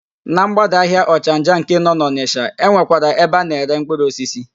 Na ḿgbádà ahịa Ọchanja nke nọ n'Ọnịsha, e nwekwara ebe a na-ere mkpụrụosisi.